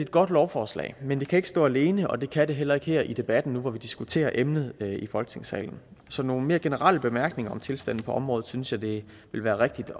godt lovforslag men det kan ikke stå alene og det kan det heller ikke her i debatten nu hvor vi diskuterer emnet i folketingssalen så nogle mere generelle bemærkninger om tilstanden på området synes jeg det ville være rigtigt